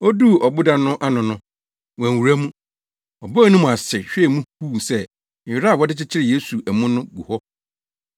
Oduu ɔboda no ano no, wanwura mu. Ɔbɔɔ ne mu ase hwɛɛ mu huu sɛ nwera a wɔde kyekyeree Yesu amu no gu hɔ.